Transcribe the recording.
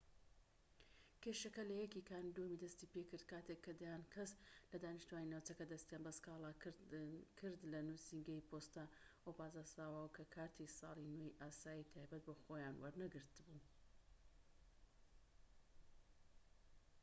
کێشەکە لە 1 کانوونی دووەم دەستی پێکرد کاتێک کە دەیان کەس لە دانیشتوانی ناوچەکە دەستیان بە سکاڵا کردلە نووسینگەی پۆستەی ئۆبانازاوا کە کارتی ساڵی نوێی ئاسایی تایبەت بە خۆیان وەرنەگرت بوو‎